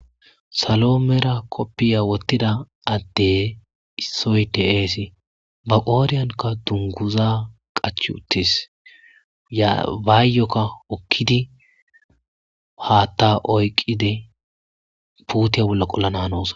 salo mera koppiya wottida adde issoyteasi ba qooriyankka dunguza qach uttis ybaayyokka okkidi haatta oyqide puutiya bolla qollana hnoos